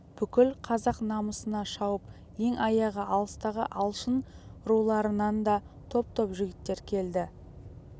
бүкіл қазақ намысына шауып ең аяғы алыстағы алшын руларынан да топ-топ жігіттер келді